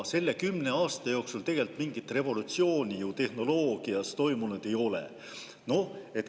Selle kümne aasta jooksul tegelikult mingit revolutsiooni tehnoloogias toimunud ju ei ole.